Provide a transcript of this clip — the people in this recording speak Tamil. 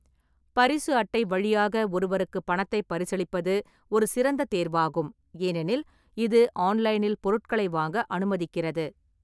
பரிசு அட்டை வழியாக ஒருவருக்கு பணத்தை பரிசளிப்பது ஒரு சிறந்த தேர்வாகும், ஏனெனில் இது ஆன்லைனில் பொருட்களை வாங்க அனுமதிக்கிறது.